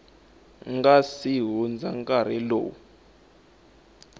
nga si hundza nkarhi lowu